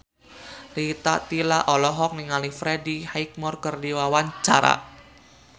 Rita Tila olohok ningali Freddie Highmore keur diwawancara